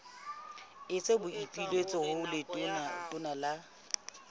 etsa boipiletso ho letona la